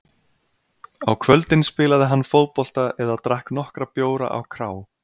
Á kvöldin spilaði hann fótbolta eða drakk nokkra bjóra á krá.